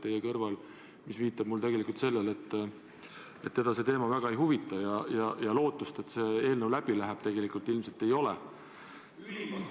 See viitab sellele, et teda see teema väga ei huvita ja lootust, et see eelnõu läbi läheb, ilmselt ei ole.